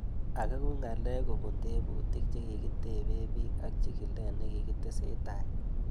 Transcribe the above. Ake ko ng'alek kopun tebutik che kikitepee pik ak chig'ilet ne kikitesetai